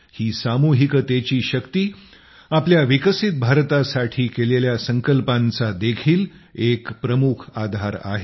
ही सामूहिकतेची शक्ती आपल्या विकसित भारतासाठी केलेल्या संकल्पांचादेखील एक प्रमुख आधार आहे